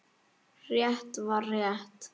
Rétt var rétt.